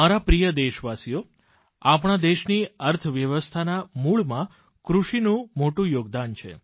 મારા પ્રિય દેશવાસીઓ આપણા દેશની અર્થવ્યવસ્થાના મૂળમાં કૃષિનું મોટું યોગદાન છે